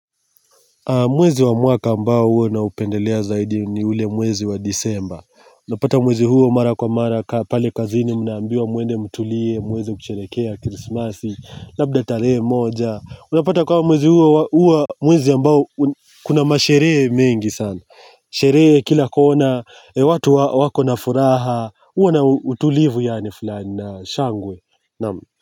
Mwezi wa mwaka ambao huo naupendelea zaidi ni ule mwezi wa disemba Unapata mwezi huo mara kwa mara pale kazini mnnaambiwa mwende mtulie, mwende mushereheekee, krismasi, labda taree moja Unapata kwamba mwezi huo huwa mwezi ambao kuna masherehee mengi sana Sheree kila kona, watu wako nafuraha, huwa na utulivu yaani fulani na shangwe.